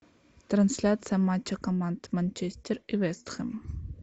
трансляция матча команд манчестер и вест хэм